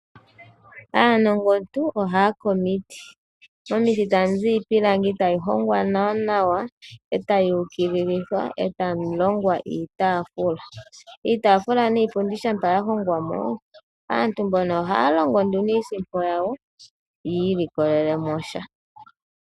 Aanongontu ohaya ke omiti, momiti tamu zi iipilangi, tayi hongwa nawa, e tayi ukililithwa opo mu longwe iitafula. Iitaafula niipundi shampa ya longwa mo, aantu mbono ohaya longo nduno iisimpo yawo, yi ilikolele mo sha.